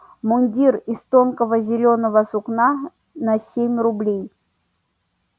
мундир из тонкого зелёного сукна на семь рублей